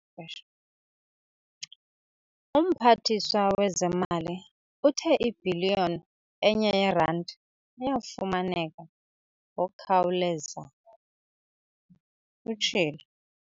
"UMphathiswa wezeMali uthe ibhiliyoni enye yeeranti iyafumaneka ngokukhawuleza," utshilo.